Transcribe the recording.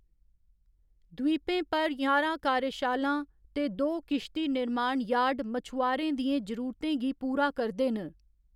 द्वीपें पर ञारां कार्यशालां ते दो किश्ती निर्माण यार्ड मछुआरें दियें जरूरतें गी पूरा करदे न।